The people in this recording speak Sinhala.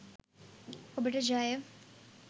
ඔබට ජය.